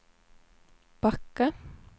Backe